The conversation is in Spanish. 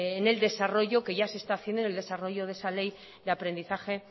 en el desarrollo que ya se está haciendo en el desarrollo de esa ley de aprendizaje